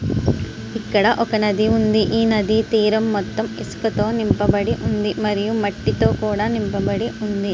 ఇక్కడ ఒక నది తీరం ఉంది ఈ నది తీరం మొత్తం ఇసుక తో నింపబడి ఉంది మరియు మట్టితో కూడా నింపబడి ఉంది.